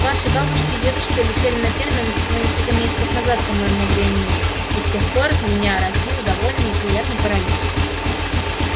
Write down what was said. ваши бабушки и дедушки улетели на терминус всего несколько месяцев назад по моему времени и с тех пор меня разбил довольно неприятный паралич